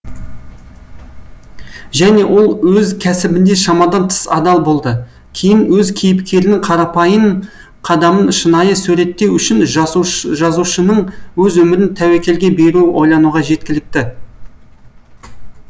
және ол өз кәсібінде шамадан тыс адал болды кейін өз кейіпкерінің қарапайым қадамын шынайы суреттеу үшін жазушының өз өмірін тәуекелге беруі ойлануға жеткілікті